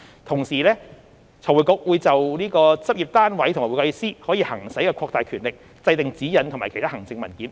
同時，財匯局會就對執業單位和會計師可行使的擴大權力，制訂指引和其他行政文件。